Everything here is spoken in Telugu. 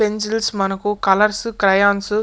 పెన్సిల్స్ మనకు కలర్స్ క్రేయాన్స్ --